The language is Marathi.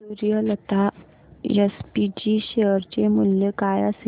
सूर्यलता एसपीजी शेअर चे मूल्य काय असेल